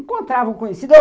Encontrava o conhecido.